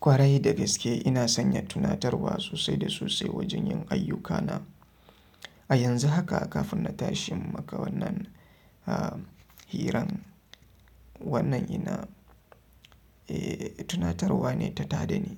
Kwarai da gaske ina sanya tunatarwa sosai da sosai wajen yin ayyukana. A yanzu haka kafin na tashi in maka wannan hiran, wannan ina, eh, tunatarwa ne ta taɗani,